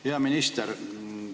Hea minister!